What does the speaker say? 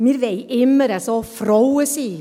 Wir wollen immer Frauen sein.